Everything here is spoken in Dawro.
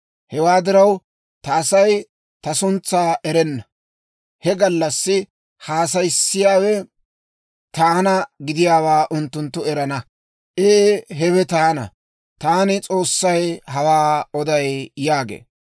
Hewaa diraw, ta Asay ta suntsaa erana; he gallassi haasayiyaawe taana gidiyaawaa unttunttu erana. Ee hewe taana. Taani S'oossay hawaa oday» yaagee.